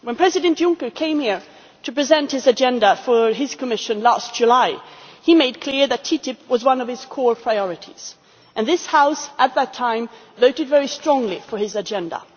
When President Juncker came here to present the agenda for his Commission last July, he made clear that TTIP was one of his core priorities, and this House at that time voted very strongly for his agenda.